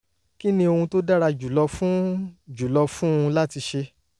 kí ni ohun tó dára jùlọ fún jùlọ fún un láti ṣe?